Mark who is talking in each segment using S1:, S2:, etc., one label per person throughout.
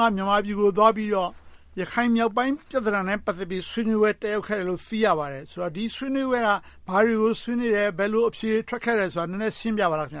S1: က မြန်မာပြည်နယ်ကို သွားပြီးတော့ ရခိုင်မြောက်ပိုင်း ပြဿနာနဲ့ ပတ်သက်ပြီး ဆွေးနွေးပွဲ တက်ရောက်ခဲ့တယ်လို့ သိရပါတယ်။ ဆိုတော့ ဒီဆွေးနွေးပွဲက ဘာတွေကို ဆွေးနွေးလဲ။ ဘယ်လို အဖြေတွေ ထွက်ခဲ့သလဲဆိုတာကို နည်းနည်းရှင်းပြပါ။ Yun Sun
S2: ။
S3: ။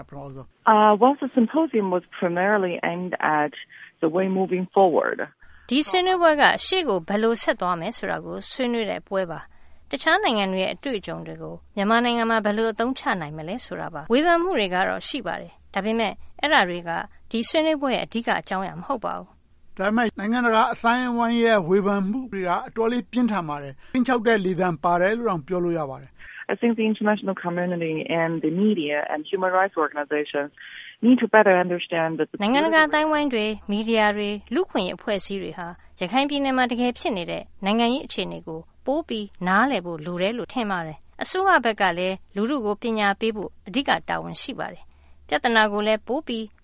S3: ဒီဆွေးနွေးပွဲက ရှေ့ကို ဘယ်လိုဆက်သွားမယ်ဆိုတာကို ဆွေးနွေးတဲ့ပွဲပါ။ တခြားနိုင်ငံတွေရဲ့ အတွေ့အကြုံတွေကို မြန်မာနိုင်ငံမှာ ဘယ်လို အသုံးချနိုင်မလဲဆိုတာပါ။ ဝေဖန်မှုတွေကတော့ ရှိပါတယ်။ ဒါပေမဲ့ အဲဒါတွေက ဒီဆွေးနွေးပွဲရဲ့ အဓိက အကြောင်းအရာ မဟုတ်ပါဘူး။
S1: ဦးကျော်ဇံသာ ။ ။ ဒါပေမဲ့ နိုင်ငံတကာ အသိုင်းအဝိုင်းရဲ့ ဝေဖန်မှုတွေက အတော်လေး ပြင်းထန်ပါတယ်။ ခြိမ်းခြောက်တဲ့လေသံပါတယ်လို့တောင် ပြောလို့ရပါတယ်။ Yun Sun ။ ။ န
S2: ိုင်ငံတကာ
S3: အသိုင်းအဝိုင်းတွေ၊ မီဒီယာတွေ၊ လူ့အခွင့်အရေး အဖွဲ့အစည်းတွေဟာ ရခိုင်ပြည်နယ်မှာ တကယ်ဖြစ်နေတဲ့ နိုင်ငံရေးအခြေအနေကို ပိုပြီးနားလည်ဖို့ လိုတယ်လို့ ထင်ပါတယ်။ အစိုးရဘက်ကလည်း လူထုကို ပညာပေးဖို့ အဓိက တာဝန်ရှိပါတယ်။ ပြဿနာကိုလည်း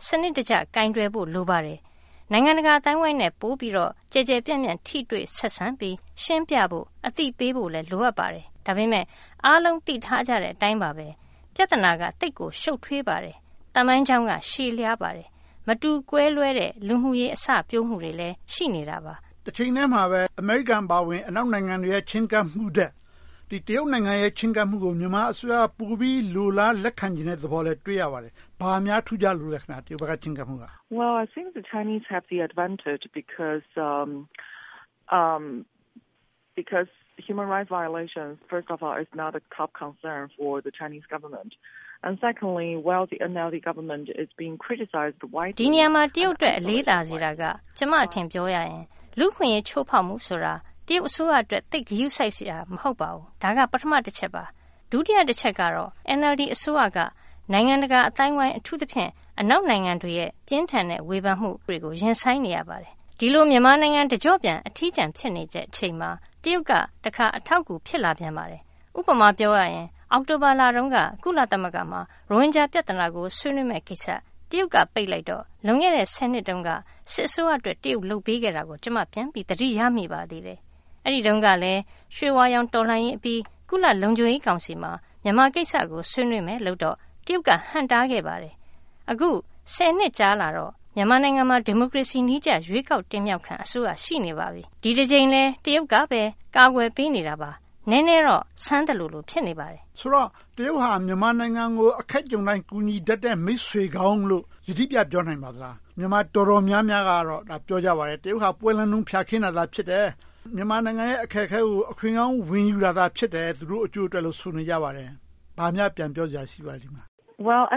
S3: စနစ်တကျ ပိုပြီးကိုင်တွယ်ဖို့ လိုပါတယ်။ နိုင်ငံတကာအသိုင်းအဝိုင်းနဲ့ ပိုပြီးတော့ ကျယ်ကျယ်ပြန့်ပြန့် ထိတွေ့ဆက်ဆံပြီး ရှင်းပြဖို့၊ အသိပေးဖို့လည်း လိုအပ်ပါတယ်။ ဒါပေမဲ့ အားလုံးသိထားကြတဲ့အတိုင်းပါပဲ ပြဿနာက သိပ်ကိုရှု့ပ်ထွေးပါတယ်။ သမိုင်းကြောင်းက ရှည်လျားပါတယ်။ မတူကွဲပြားတဲ့ လူမှုရေးအစပျိုးမှုတွေလည်း ရှိနေတာပါ
S1: ။ ဦးကျော်ဇံသာ ။ ။ တချိန်တည်းမှာပဲ အမေရိကန်အပါအဝင် အနောက်နိုင်ငံတွေရဲ့ ချည်းကပ်မှုထက် တရုတ်နိုင်ငံရဲ့ ချည်းကပ်မှုကို မြန်မာအစိုးရက ပိုပြီးလိုလားလက်ခံမယ်ဆိုတာကိုလည်း တွေ့ရပါတယ်။ ဘာများ ထူးခြားလို့လဲ။ Yun Sun ။ ။
S2: ဒ
S3: ီနေရာမှာ တရုတ်အတွက် အလေးသာစေတာက ကျမ့အထင် ပြောရရင် လူ့အခွင့်အရေး ချိုးဖောက်မှုဆိုတာ တရုတ်အစိုးရအတွက် သိပ်ဂရုစိုက်စရာ မဟုတ်ပါဘူး။ ဒါက ပထမတချက်ပါ။ ဒုတိယတချက်ကတော့ NLD အစိုးရက နိုင်ငံတကာအသိုင်းအဝိုင်း အထူးသဖြင့် အနောက်နိုင်ငံတွေရဲ့ ပြင်းထန်တဲ့ ဝေဖန်မှုတွေကို ရင်ဆိုင်နေရပါတယ်။ ဒီလို မြန်မာနိုင်ငံ တကျော့ပြန် အထီးကျန် ဖြစ်နေတဲ့အချိန်မှာ တရုတ်က တခါ အထောက်အကူ ဖြစ်လာပြန်ပါတယ်။ ဥပမာ ပြောရရင် အောက်တိုဘာလတုန်းက ကုလသမဂ္ဂမှာ ရိုဟင်ဂျာပြဿနာကို ဆွေးနွေးမယ့်ကိစ္စ တရုတ်က ပိတ်လိုက်တော့ လွန်ခဲ့တဲ့ ဆယ်နှစ်တုန်းက စစ်အစိုးရအတွက် တရုတ် လုပ်ပေးခဲ့တာကို ကျမ ပြန်ပြီးသတိရမိပါသေးတယ်။ အဲဒီတုန်းကလည်း ရွှေဝါရောင် တော်လှန်ရေးအပြီး ကုလလုံခြုံရေးကောင်စီမှာ မြန်မာကိစ္စကို ဆွေးနွေးမယ်ဆိုတော့ တရုတ်က ဟန့်တားခဲ့ပါတယ်။ အခု ဆယ်နှစ်ကြာလာတော့ မြန်မာနိုင်ငံမှာ ဒီမိုကရေစီနည်းကျ ရွေးကောက်တင်မြှောက်ခံ အစိုးရ ရှိနေပါပြီ။ ဒီတကြိမ်လည်း တရုတ်ကပဲ ကာကွယ်ပေးနေတာပါ
S1: ။ နည်းနည်းတော့ ဆန်းသလို ဖြစ်နေပါတယ်။ ဦးကျော်ဇံသာ ။ ။ ဆိုတော့ တရုတ်က မြန်မာနိုင်ငံကို အခက်ကြုံတိုင်း ကူညီတတ်တဲ့ မိတ်ဆွေကောင်းလို့ ယတိပြတ် ပြောနိုင်မလား။ မြန်မာ တော်တော်များကတော့ ပြောကြပါတယ်… တရုတ်က ပွဲလန့်တုန်း ဖျာခင်းတာ ဖြစ်တယ်။ မြန်မာနိုင်ငံရဲ့ အခက်အခဲကို အခွင့်ကောင်း ဝင်ယူတာ ဖြစ်တယ်။ သူတို့အကျိုးအတွက်လို့ ဆိုပါတယ်။ ဘာများပြန်ပြောစရာ ရှိပါလဲ။ Yun
S2: Sun ။ ။ အဲ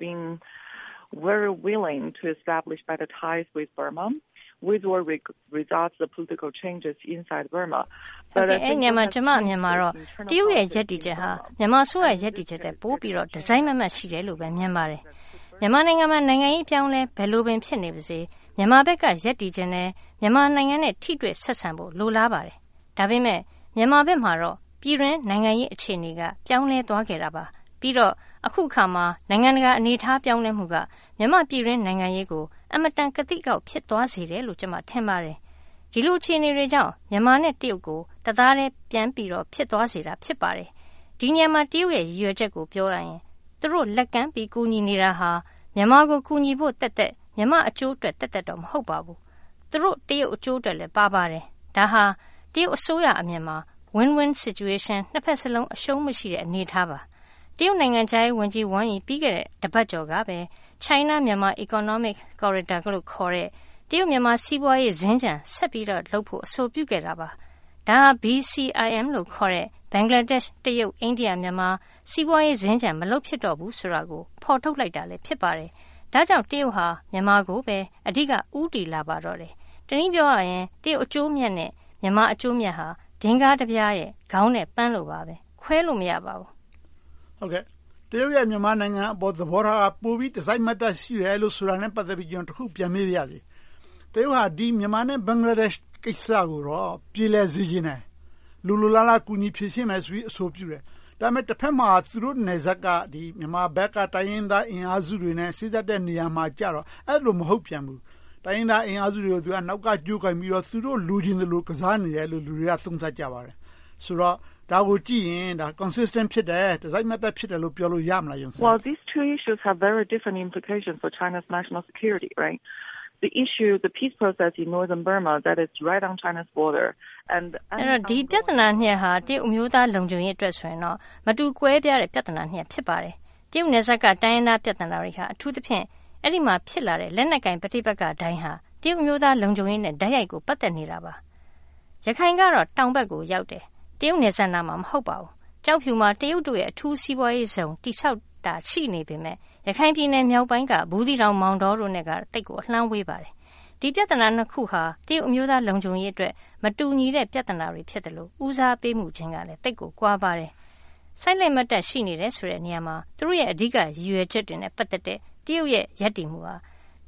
S2: ဒီနေရာမှာ
S3: ကျမရဲ့အမြင်ကတော့ တရုတ်ရဲ့ ရပ်တည်ချက်ဟာ မြန်မာအစိုးရ ရပ်တည်ချက်ထက် ပိုပြီးတော့ တစိုက်မတ်မတ် ရှိတယ်လို့ မြင်ပါတယ်။ မြန်မာနိုင်ငံမှာ နိုင်ငံရေး အပြောင်းအလဲ ဘယ်လိုပင် ဖြစ်နေပါစေ မြန်မာဘက်က ရပ်တည်ချင်တယ်။ မြန်မာနိုင်ငံနဲ့ ထိတွေ့ဆက်ဆံမှု လိုလားပါတယ်။ ဒါပေမဲ့ မြန်မာဘက်မှာတော့ ပြည်တွင်းနိုင်ငံရေး အခြေအနေက ပြောင်းလဲသွားနေတာပါ။ ပြီးတော့ အခုအခါမှာ နိုင်ငံတကာ အနေအထား ပြောင်းလဲမှုက မြန်မာ့ပြည်တွင်း နိုင်ငံရေးကို အင်မတန် ကသိကအောက် ဖြစ်သွားစေတယ်လို့ ကျမ ထင်ပါတယ်။ ဒီလို အခြေအနေတွေကြောင့် မြန်မာနဲ့ တရုတ် တသားတည်း ပြန်ပြီးတော့ ဖြစ်သွားစေတာ ဖြစ်ပါတယ်။ ဒီနေရာမှာ တရုတ်ရဲ့ ရည်ရွယ်ချက်ကို ပြောရရင် သူတို့ လက်ကမ်းပြီး ကူညီနေတာဟာ မြန်မာကို ကူညီဖို့သက်သက်၊ မြန်မာ့အကျိုးအတွက်သက်သက်တော့ မဟုတ်ပါဘူး။ သူတို့တရုတ်အကျိုးအတွက်လည်း ပါပါတယ်။ ဒါဟာ တရုတ်အစိုးရအမြင်မှာ Win-Win Situation နှစ်ဘက်စလုံး အရှုံးမရှိတဲ့ အနေအထားပါ။ တရုတ်နိုင်ငံခြားရေးဝန်ကြီး ဝမ်ယီ ပြီးခဲ့တဲ့ တပတ်ကျော်ကပဲ China-Myanmar Economic Corridor လို့ခေါ်တဲ့ တရုတ်-မြန်မာ စီးပွားရေးစင်္ကြန် ဆက်ပြီးတော့လုပ်ဖို့ အဆိုပြုခဲ့တာပါ။ ဒါဟာ BCIM လို့ခေါ်တဲ့ ဘင်္ဂလားဒေ့ရှ်၊ တရုတ်၊ အိန္ဒိယ၊ မြန်မာ စီးပွားရေးစင်္ကြန် မလုပ်ဖြစ်တော့ဘူးဆိုတော့ကို ဖော်ထုတ်လိုက်တာ ဖြစ်ပါတယ်။ ဒါကြောင့် တရုတ်က မြန်မာကိုပဲ အဓိက ဦးတည်လာပါတော့တယ်။ တနည်းအားဖြင့် တရုတ် အကျိုးအမြတ်နဲ့ မြန်မာအကျိုးအမြတ်ဟာ ဒင်္ဂါးတပြားရဲ့ ခေါင်းနဲ့ပန်းလို ခွဲခြားလို့ မရပါဘူး
S1: ။ ဦးကျော်ဇံသာ ။ ။ တရုတ်ရဲ့ မြန်မာနိုင်ငံအပေါ် သဘောထားက ပိုပြီးတစိုက်မတ်မတ် ရှိတယ်လို့ ဆိုတာနဲ့ ပတ်သက်ပြီးတော့ ကျနော် တခု ပြန်မေးပါရစေ။ တရုတ်က မြန်မာနဲ့ ဘင်္ဂလားဒေ့ရှ် ကိစ္စကို ပြေလည်စေချင်တယ်။ လိုလိုလားလား ကူညီဖြေရှင်းမယ်ဆိုပြီးတော့ အဆိုပြုတယ်။ ဒါပေမဲ့ တဘက်မှာ သူတို့နယ်စပ်မှာ မြန်မာဘက်က တိုင်းရင်းသားအင်အားစုတွေနဲ့ စေ့စပ်တဲ့နေရာမှာကြတော့ အဲဒီလို မဟုတ်ပြန်ဘူး။ တိုင်းရင်းသားအင်အားစုတွေကို နောက်က ကြိုးကိုင်ပြီးတော့ သူတို့ လိုချင်သလို ကစားနေတယ်လို့ လူတွေက သုံးသပ်ကြပါတယ်။ ဆိုတော့ ဒါကိုကြည့်ရင် Consistent ဖြစ်တယ် တစိုက်မတ်တပ် ဖြစ်တယ်လို့ ပြောလို့ရမလား။ Yun Sun ။
S2: ။ ဒ
S3: ီပြဿနာနှစ်ရပ်ဟာ တရုတ်အမျိုးသား လုံခြုံရေးအတွက်ဆိုရင်တော့ မတူကွဲပြားတဲ့ ပြဿနာနှစ်ရပ် ဖြစ်ပါတယ်။ တရုတ်နယ်စပ်က တိုင်းရင်းသားပြဿနာတွေဟာ အထူးသဖြင့် အဲဒီမှာ ဖြစ်လာတဲ့ လက်နက်ကိုင် ပဋိပက္ခတိုင်းဟာ တရုတ်အမျိုးသား လုံခြုံရေးနဲ့ တိုက်ရိုက်ပတ်သက်နေပါတယ်။ ရခိုင်ကတော့ တောင်ဘက်ကိုရောက်တယ်။ တရုတ်နယ်စပ်နားမှာ မဟုတ်ပါဘူး။ ကျောက်ဖြူမှာ တရုတ်တွေ အထူးစီးပွားရေးဇုန် တည်ဆောက်နေတာ ရှိနေပေမယ့် ရခိုင်ပြည်နယ်မြောက်ပိုင်းက ဘူးသီးတောင်၊ မောင်တောတို့နဲ့တော့ သိပ်ကိုအလှမ်းဝေးပါတယ်။ ဒီပြဿနာနှစ်ခုဟာ တရုတ်အမျိုးသား လုံခြုံရေးအတွက် မတူညီတဲ့ ပြဿနာတွေဖြစ်လို့ ဦးစားပေးမှုခြင်းကလည်း သိပ်ကိုကွာပါတယ်။ စိုက်လက်မတ်တပ် ရှိနေတယ်ဆိုတဲ့နေရာမှာ သူတို့ရဲ့ အဓိကရည်ရွယ်ချက်တွေနဲ့ ပတ်သက်တဲ့ တရုတ်ရဲ့ ရည်ရွယ်ချက်က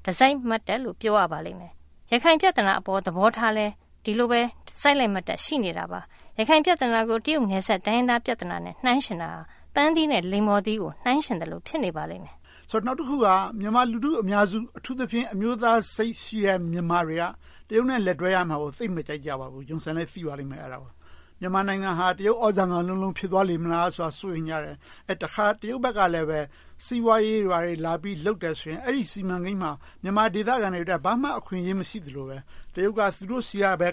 S3: တစိုက်မတ်တပ်လို့ ပြောရပါလိမ့်မယ်။ ရခိုင်ပြဿနာပေါ် သဘောထားလည်း ဒီလိုပဲ စိုက်လက်မတ်တပ် ရှိနေတာပါ။ ရခိုင်ပြဿနာကို တရုတ်နယ်စပ် တိုင်းရင်းသားပြဿနာနဲ့ နှိုင်းယှဉ်တာ ပန်းသီးနဲ့ လိမ္မော်သီးတို့ နှိုင်းယှဉ်သလို ဖြစ်နေပါတယ်။ ဦး
S1: ကျော်ဇံသာ ။ ။ နောက်တခုက မြန်မာလူထုအများစု အထူးသဖြင့် အမျိုးသားစိတ်ရှိတဲ့ မြန်မာတွေဟာ တရုတ်နဲ့ လက်တွဲရမှာကို သိပ်မကြိုက်ကြဘူး။ မြန်မာနိုင်ငံဟာ တရုတ် သြဇာခံလုံးလုံး ဖြစ်သွားလေမလားဆိုတာကို စိုးရိမ်ကြတယ်။ တခါ တရုတ်ဘက်ကလည်း စီးပွားရေးတွေ ဘာတွေ လာလုပ်တယ်ဆိုရင် အဲဒီ စီးပွားရေးစီမံကိန်းတွေမှာ မြန်မာဒေသခံတွေအတွက် ဘာမှ အခွင့်အရေးမရှိသလိုပဲ တရုတ်က သူတို့ဆီကပဲ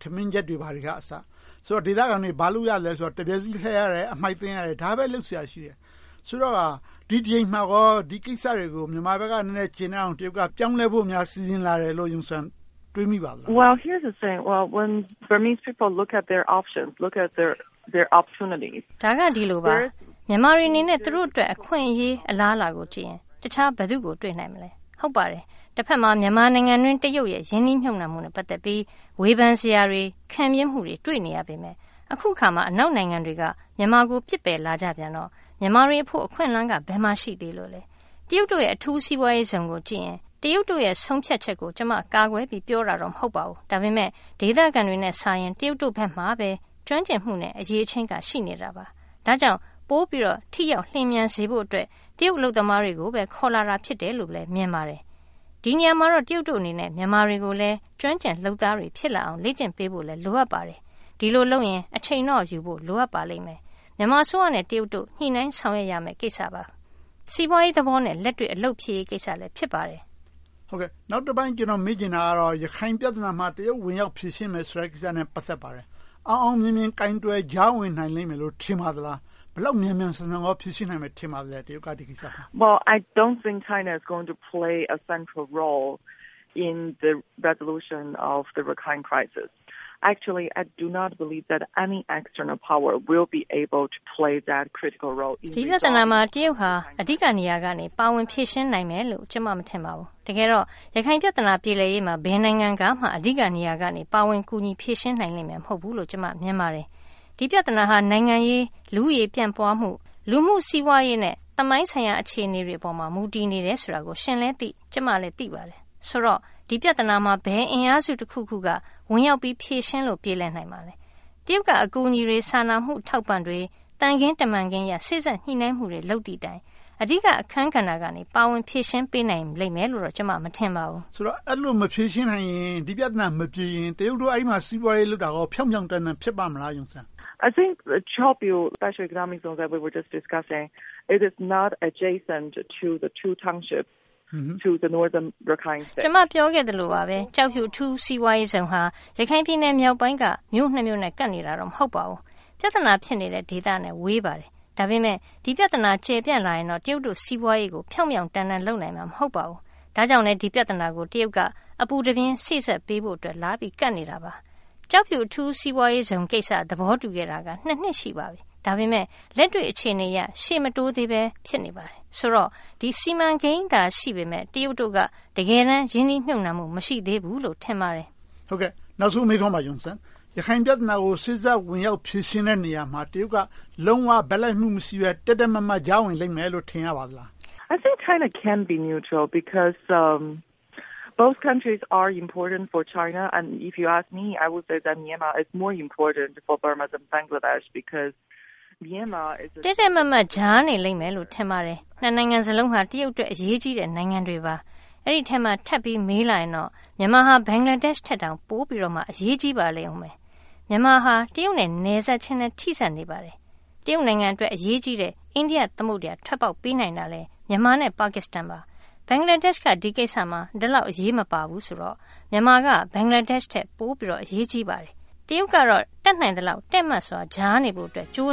S1: ထမင်းချက်တွေ ဘာတွေကအစ ခေါ်လာတယ်။ ဆိုတော့ ဒေသခံတွေ ဘာလုပ်ရသလဲဆိုတော့ တံမြက်စည်းလှဲရတယ်။ အမှိုက်သိမ်းရတယ်။ ဒါတွေပဲ လုပ်စရာရှိတယ်။ ဆိုတော့ ဒီတကြိမ်မှာကော ဒီကိစ္စတွေကို မြန်မာဘက်က ကျေနပ်အောင် တရုတ်ဘက်က ပြောင်းလဲလာဖို့ စီစဉ်တယ်လို့ Yun Sun တွေးမိပါလား။ Yun Sun ။ ။ ဒါက ဒီလိုရှိပါတယ်
S2: ။ မြန်မာတွေအနေနဲ့ သူတို့
S3: အတွက် အခွင့်အရေး၊ အလားအလာကိုကြည့်ရင် တခြားဘယ်သူကို တွေ့နိုင်မလဲ။ တဘက်မှာ မြန်မာနိုင်ငံအတွင်း တရုတ်ရဲ့ ရင်းနှီးမြုပ်နံှမှုနဲ့ ပတ်သက်ပြီး ဝေဖန်စရာတွေ၊ ခံပြင်းမှုတွေ တွေ့နေရပေမယ့် အခုအခါမှာ အနောက်နိုင်ငံတွေက မြန်မာကို ပစ်ပယ်လာကြပြန်တော့ မြန်မာတွေအဖို့ အခွင့်အလမ်းက ဘယ်မှာရှိသေးလို့လဲ။ တရုတ်တို့ရဲ့ အထူးစီးပွားရေးဇုန်ကိုကြည့်ရင် တရုတ်တို့ရဲ့ ဆုံးဖြတ်ချက်ကို ကျမ ကာကွယ်ပြီးတော့ ပြောတာမဟုတ်ပါဘူး။ ဒါပေမဲ့ ဒေသခံတွေနဲ့စာရင် တရုတ်တို့ဘက်မှာပဲ ကျွမ်းကျင်မှုနဲ့ အရည်အချင်းက ရှိနေတာပါ။ ဒါကြောင့် ပိုပြီးတော့ ထိရောက်လျင်မြန်စေဖို့အတွက် တရုတ်အလုပ်သမားတွေကိုပဲ ခေါ်လာတာဖြစ်တယ်လို့ပဲ မြင်ပါတယ်။ ဒီနေရာမှာတော့ တရုတ်တို့အနေနဲ့ မြန်မာတွေကိုလည်း ကျွမ်းကျင်လုပ်သားတွေ ဖြစ်လာအောင် လေ့ကျင့်ပေးဖို့ လိုအပ်ပါတယ်။ ဒီလိုလုပ်ရင် အချိန်တော့ယူဖို့ လိုအပ်ပါတယ်။ မြန်မာအစိုးရနဲ့ တရုတ်တို့ ညှိနှိုင်းဆောင်ရွက်ရမယ့် ကိစ္စပါ။ စီးပွားရေးသဘောနဲ့ လက်တွေ့အလုပ်ဖြစ်ရေးကိစ္စလည်း ဖြစ်ပါတယ်
S1: ။ ဦးကျော်ဇံသာ ။ ။ နောက်တပိုင်း ကျနော် မေးချင်တာကတော့ ရခိုင်ပြဿနာမှာ တရုတ် ဝင်ရောက်ဖြေရှင်းမယ်ဆိုတဲ့ ကိစ္စနဲ့ ပတ်သက်ပါတယ်။ အောင်အောင်မြင်မြင် ကိုင်တွယ်ကြားဝင်နိုင်လိမ့်မယ်လို့ ထင်ပါသလား။ ဒီကိစ္စကို ဘယ်လောက် မြန်မြန်ဆန်ဆန် ဖြေရှင်းနိုင်မယ်လို့ ထင်ပါသလဲ။ Yun Sun ။ ။ ဒီပြ
S2: ဿနာ
S3: မှာ တရုတ်ဟာ အဓိက နေရာကနေ ပါဝင်ဖြေရှင်းနိုင်မယ်လို့ ကျမ မထင်ပါဘူး။ တကယ်တော့ ရခိုင်ပြဿနာ ပြေလည်ရေးမှာ ဘယ်နိုင်ငံကမှ အဓိကနေရာကနေ ကူညီဖြေရှင်းနိုင်လိမ့်မယ် မဟုတ်ဘူးလို့ ကျမ မြင်ပါတယ်။ ဒီပြဿနာဟာ နိုင်ငံရေး၊ လူဦးရေပြန့်ပွားမှု၊ လူမှု့စီးပွားရေးနဲ့ သမိုင်းဆိုင်ရာ အခြေအနေတွေပေါ်မှာ မူတည်နေတယ်ဆိုတာကို ရှင်လည်းသိ၊ ကျမလည်း သိပါတယ်။ ဆိုတော့ ဒီပြဿနာမှာ ဘယ်အင်အားစုတခုခုကမှ ဝင်ရောက်ပြီး ဖြေရှင်းလို့ ပြေလည်နိုင်မလဲ။ တရုတ်က အကူအညီတွေ၊ စာနာမှုအထောက်အပံ့တွေ၊ သံခင်းတမန်ခင်းအရ စေ့စပ်ညှိနှိုင်းမှုတွေ လုပ်သည်တိုင် အဓိက အခန်းကဏ္ဍကနေ ပါဝင်ဖြေရှင်းပေးနိုင်လိမ့်မယ်လို့ ကျမ မထင်ပါဘူး
S1: ။ ဦးကျော်ဇံသာ ။ ။ ဆိုတော့ အဲဒီလို မဖြေရှင်းနိုင်ရင် ဒီပြဿနာမပြေရင် တရုတ်တို့က အဲဒီမှာ ဒီးပွားရေးလုပ်တာကို ဖြောင့်ဖြောင့်တန်းတန်း ဖြစ်ပါ့မလား။ Yun Sun ။ ။ က
S2: ျမ
S3: ပြောခဲ့သလိုပါပဲ ကျောက်ဖြူ အထူးစီးပွားရေးဇုန်ဟာ ရခိုင်ပြည်နယ်မြောက်ပိုင်းက မြို့နှစ်မြို့နဲ့ ကပ်နေတာ မဟုတ်ပါဘူး။ ပြဿနာ ဖြစ်နေတဲ့ ဒေသနဲ့ ဝေးပါတယ်။ ဒါပေမဲ့ ဒီပြဿနာ ကျယ်ပြန့်လာရင်တော့ တရုတ်တို့ စီးပွားရေးကို ဖြောင့်ဖြောင့်တန်းတန်း လုပ်နိုင်မှာ မဟုတ်ပါဘူး။ ဒါကြောင့်လဲ ဒီပြဿနာကို တရုတ်က အပူတပြင်း စေ့စပ်ပေးဖို့အတွက် လာရောက်ပြီး ကပ်နေတာပါ။ ကျောက်ဖြူ အထူးစီးပွားရေးဇုန်ကိစ္စ သဘောတူခဲ့တာ နှစ် ရှိပါပြီ။ ဒါပေမဲ့ လက်တွေ့အခြေအနေအရ ရှေ့မတိုးသေးဘဲ ဖြစ်နေပါတယ်။ ဆိုတော့ ဒီ စီမံကိန်းသာ ရှိနေပေမယ့် တရုတ်တို့က တကယ်တမ်း ရင်းနှီးမြုပ်နံှမှု မရှိသေးဘူးလို့ ထင်ပါတယ်
S1: ။ ဦးကျော်ဇံသာ ။ ။ နောက်ဆုံးမေးခွန်းပါ - ရခိုင်ပြဿနာကို စေ့စပ်ဖြေရှင်းတဲ့ နေရာမှာ တရုတ်က လုံးဝဘက်လိုက်မှု မရှိဘူး။ တည့်တည့်မတ်မတ် ကြားဝင်လိမ့်မယ်လို့ ထင်ရပါသလား။ Yun Sun ။ ။
S2: တည့်တည
S3: ့်မတ်မတ် ကြားနေလိမ့်မယ်လို့ ထင်ပါတယ်။ နိုင်ငံစလုံးက တရုတ်အတွက် အရေးကြီးတဲ့ နိုင်ငံတွေပါ။ အဲဒီအထဲမှာ ထပ်ပြီးတော့ မေးလာရင်တော့ မြန်မာက ဘင်္ဂလားဒေ့ရှ်ထက် ပိုပြီးတော့ အရေးကြီးပါတယ်။ မြန်မာဟာ တရုတ်နဲ့လည်း နယ်စပ်ချင်းလည်း ထိဆက်နေပါတယ်။ တရုတ်နိုင်ငံအတွက် အရေးကြီးတဲ့ အိန္ဒိယသမုဒ္ဒရာကို ထွက်ပေါက်ပေးနိုင်တာလည်း မြန်မာ နဲ့ ပါကစ္စတန်ပါ။ ဘင်္ဂလားဒေ့ရှ်က ဒီကိစ္စမှာ ဒီလောက်အထိ အရေးမပါဘူးဆိုတော့ မြန်မာက ဘင်္ဂလားဒေ့ရှ်ထက် ပိုပြီးတော့ အရေးကြီးပါတယ်။ တရုတ်ကတော့ တတ်နိုင်သလောက် တည့်မတ်စွာ ကြားနေဖို့အတွက် ကြိုးစ